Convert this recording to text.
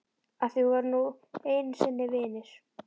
Af því við vorum nú einu sinni vinir.